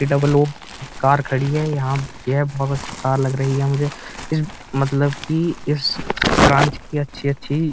Car खड़ी है। यहाँ ये लग रही है मुझे मतलब की इस ब्रांच की अच्छी-अच्छी --